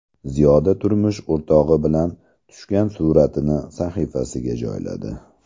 Ziyoda turmush o‘rtog‘i bilan tushgan suratini sahifasiga joyladi.